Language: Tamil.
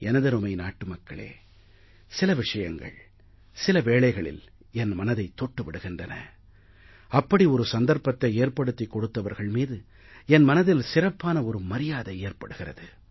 எனதருமை நாட்டு மக்களே சில விஷயங்கள் சில வேளைகளில் என் மனதைத் தொட்டு விடுகின்றன அப்படி ஒரு சந்தர்ப்பத்தை ஏற்படுத்திக் கொடுப்பவர்கள் மீது என் மனதில் சிறப்பான ஒரு மரியாதை ஏற்படுகிறது